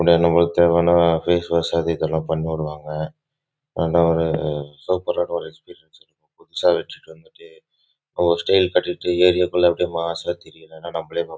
ஏறிய குள்ள மாஸ் ஆஹ் திரியலாம்